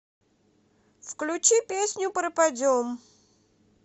включи песню пропадем